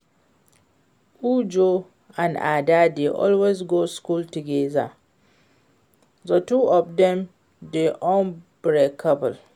Uju and Ada dey always go school together, the two of dem dey unbreakable